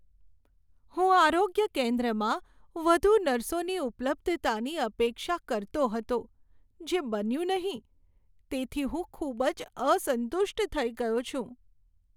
"હું આરોગ્ય કેન્દ્રમાં વધુ નર્સોની ઉપલબ્ધતાની અપેક્ષા કરતો હતો જે બન્યું નહીં, તેથી હું ખૂબ જ અસંતુષ્ટ થઈ ગયો છું".